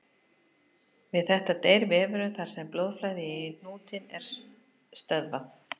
Við þetta deyr vefurinn þar sem blóðflæði í hnútinn er stöðvað.